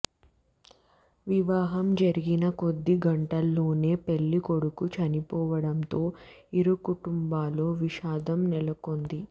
వివాహం జరిగిన కొద్ది గంటల్లోనే పెళ్లి కొడుకు చనిపోవడంతో ఇరు కుటుంబాల్లో విషాదం నెలకొంది